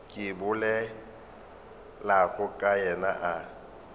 ke bolelago ka yena a